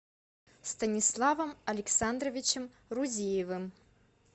станиславом александровичем рузиевым